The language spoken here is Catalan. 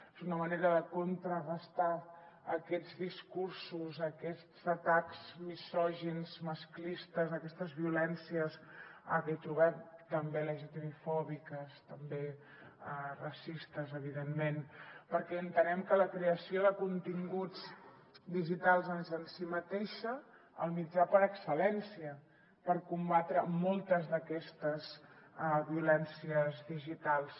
és una manera de contrarestar aquests discursos aquests atacs misògins masclistes aquestes violències que hi trobem també lgtbi fòbiques també racistes evidentment perquè entenem que la creació de continguts digitals és en si mateixa el mitjà per excel·lència per combatre moltes d’aquestes violències digitals